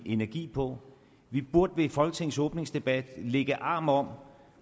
energi på vi burde ved folketingets åbningsdebat lægge arm om